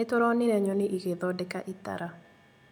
Nĩtũronire nyoni igĩthondeka itara